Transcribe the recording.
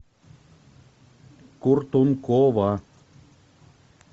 куртункова